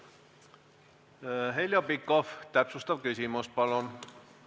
Heljo Pikhof, täpsustav küsimus, palun!